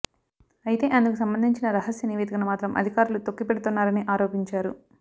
అయితే అందుకు సంబంధించిన రహస్య నివేదికను మాత్రం అధికారులు తొక్కి పెడుతున్నారని ఆరోపించారు